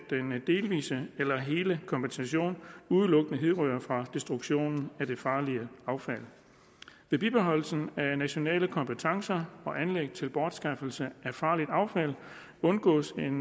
delvise eller hele kompensation udelukkende hidrører fra destruktionen af det farlige affald ved bibeholdelsen af nationale kompetencer og anlæg til bortskaffelse af farligt affald undgås en